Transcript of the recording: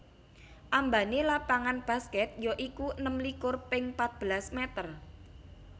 Ambané lapangan baskèt ya iku enem likur ping patbelas mèter